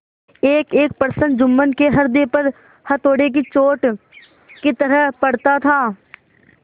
एकएक प्रश्न जुम्मन के हृदय पर हथौड़े की चोट की तरह पड़ता था